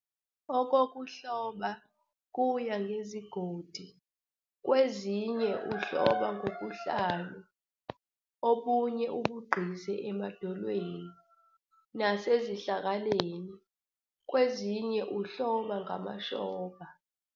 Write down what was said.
Okokuhloba kuya ngezigodi kwezinye uhloba ngobuhlalu obunye abuqgize emadolweni nasezihlakaleni kwezinye uhloba ngamashoba.